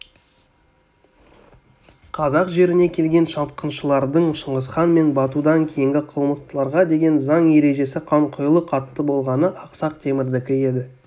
қазақ жеріне келген шапқыншылардың шыңғысхан мен батудан кейінгі қылмыстыларға деген заң-ережесіқанқұйлы қатты болғаны ақсақ темірдікі еді